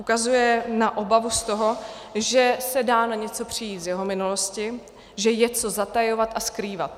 Ukazuje na obavu z toho, že se dá na něco přijít z jeho minulosti, že je co zatajovat a skrývat.